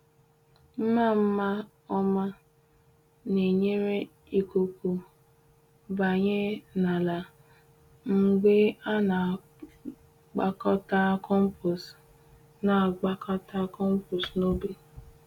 Mma mma ọma na-enyere ikuku banye n’ala mgbe a na-agbakọta compost na-agbakọta compost n’ubi.